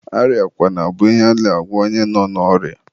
arịakwana bụ ihe a na-agwa onye nọ n'orịa.